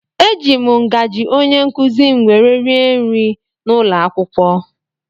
Eji m ngazi ónyé nkụzi m wee rie nri n'ụlọakwụkwọ.